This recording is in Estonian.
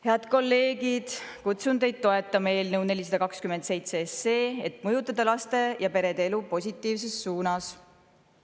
Head kolleegid, kutsun teid üles toetama eelnõu 427, et mõjutada laste ja perede elu positiivses suunas.